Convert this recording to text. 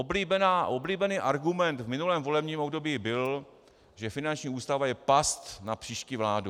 Oblíbený argument v minulém volebním období byl, že finanční ústava je past na příští vládu.